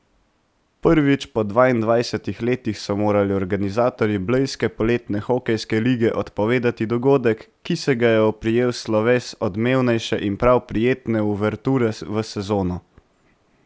Prvič po dvaindvajsetih letih so morali organizatorji blejske poletne hokejske lige odpovedati dogodek, ki se ga je oprijel sloves odmevnejše in prav prijetne uverture v sezono.